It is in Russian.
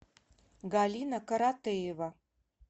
галина каратеева